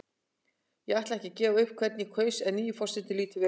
Ég ætla ekki að gefa upp hvern ég kaus en nýi forsetinn lítur vel út.